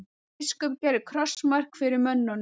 Biskup gerði krossmark fyrir mönnunum.